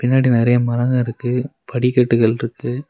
பின்னாடி நெறைய மரங்க இருக்கு படிக்கட்டுகள் இருக்கு.